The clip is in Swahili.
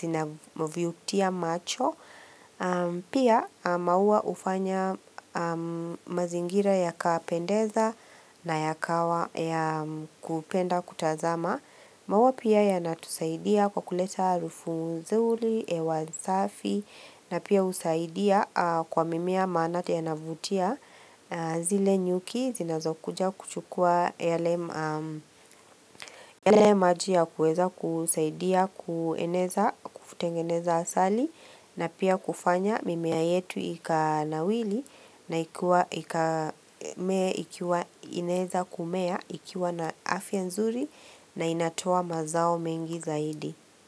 zinavutia macho, pia maua hufanya mazingira yakapendeza na yakawa ya kupenda kutazama. Maua pia yanatusaidia kwa kuleta harufu nzuri, hewa safi na pia husaidia kwa mimea manake yanavutia zile nyuki zinazokuja kuchukua yale yale maji ya kuweza kusaidia kueneza kutengeneza asali na pia kufanya mimea yetu ikanawiri na ikuwa ika ikiwa inaeza kumea ikiwa na afya nzuri na inatoa mazao mengi zaidi.